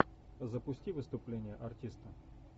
запусти выступление артиста